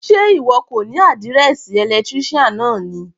Sé ìwọ kò ní àdírẹ́ẹ̀sì electrician náà ni.